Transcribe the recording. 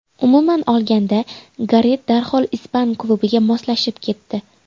Umuman olganda, Garet darhol ispan klubiga moslashib ketdi.